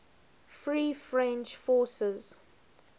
free french forces